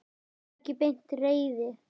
Það var ekki beint reiði.